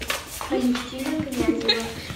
алевтина князева